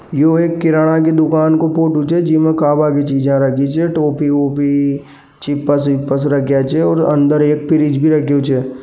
यह किराणा की दुकान का फोटो छे जीमे खाबा चीज रखी छे टॉफी ऑफि चिप्स विप्स रखा छे जो अंदर एक फ़्रिज् भी रखो छे।